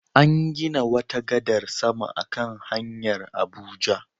An gina wata gadar sama a kan hanyar Abuja.